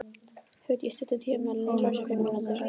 Hugdís, stilltu tímamælinn á þrjátíu og fimm mínútur.